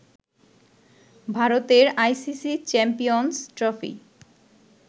ভারতের ICC Champions trophy